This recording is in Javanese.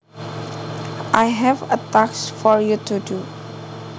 I have a task for you to do